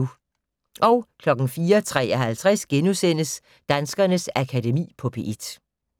04:53: Danskernes Akademi på P1 *